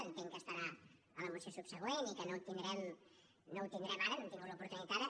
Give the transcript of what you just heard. entenc que estarà a la moció subsegüent i que no ho tindrem ara no hem tingut l’oportunitat ara